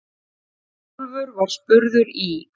Hrólfur var spurður í